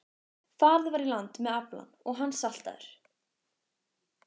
Farið var í land með aflann og hann saltaður.